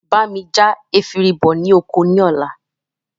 Bá mi já efinrin bọ ní oko ní ọ̀la